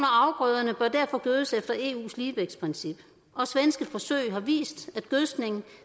afgrøderne bør derfor gødes efter eus ligevægtsprincip og svenske forsøg har vist at gødskningen